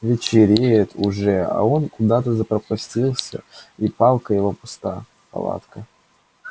вечереет уже а он куда-то запропастился и палка его пуста палатка